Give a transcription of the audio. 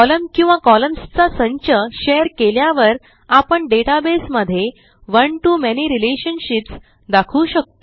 column किंवा columnsचा संच शेअर केल्यावर आपण डेटाबेस मध्ये one to मॅनी रिलेशनशिप्स दाखवू शकतो